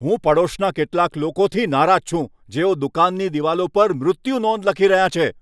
હું પડોશના કેટલાક લોકોથી નારાજ છું, જેઓ દુકાનની દિવાલો પર મૃત્યુનોંધ લખી રહ્યાં છે.